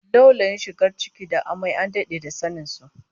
Laulayin shigar ciki da amai an dade da sanin du